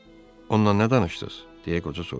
Onunla nə danışdız? deyə qoca soruşdu.